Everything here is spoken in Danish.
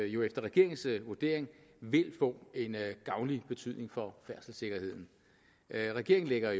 jo efter regeringens vurdering vil få en gavnlig betydning for færdselssikkerheden regeringen lægger